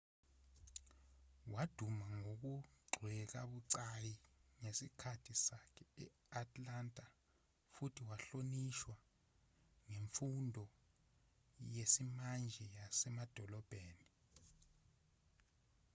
waduma ngokugxekwabucayi ngesikhathi sakhe e-atlanta futhi wahlonishwa ngemfundo yesimanje yasemadolobheni